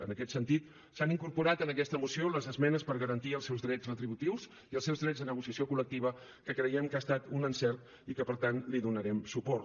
en aquest sentit s’han incorporat a aquesta moció les esmenes per garantir els seus drets retributius i els seus drets de negociació col·lectiva que creiem que ha estat un encert i que per tant hi donarem suport